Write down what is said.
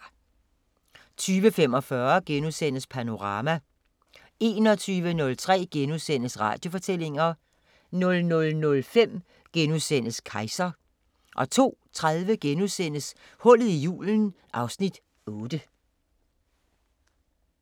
20:45: Panorama * 21:03: Radiofortællinger * 00:05: Kejser * 02:30: Hullet i julen (Afs. 8)*